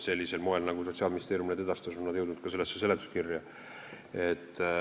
Sellisel moel, nagu Sotsiaalministeerium need mõjud edastas, on nad jõudnud ka seletuskirja.